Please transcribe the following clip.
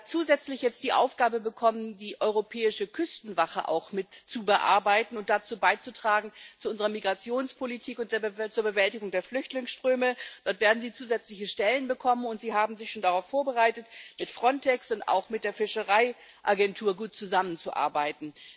Sie hat zusätzlich jetzt die Aufgabe bekommen, die Europäische Küstenwache auch mit zu bearbeiten und zu unserer Migrationspolitik und zur Bewältigung der Flüchtlingsströme beizutragen. Dort wird sie zusätzliche Stellen bekommen, und sie hat sich schon darauf vorbereitet, mit Frontex und auch mit der Fischereiagentur gut zusammenzuarbeiten.